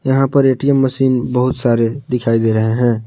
यहां पर ATM machine बहुत सारे दिखाई दे रहे हैं।